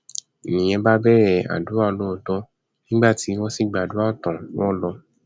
nìyẹn bá bẹrẹ àdúrà lóòótọ nígbà tí wọn sì gbàdúrà tán wọn lò